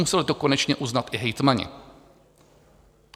Museli to konečně uznat i hejtmani.